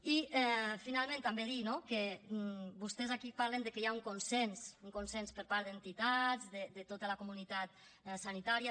i finalment també dir no que vostès aquí parlen de que hi ha un consens un consens per part d’entitats de tota la comunitat sanitària